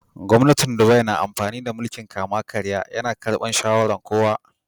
Gwamnatin Dubai na amfani da mulki'n kama-karya. Ya na karbin shawaran kowa.